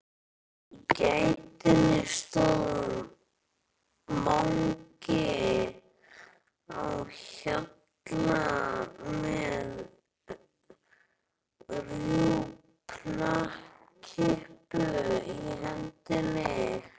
Í gættinni stóð Mangi á Hjalla með rjúpnakippu í hendinni.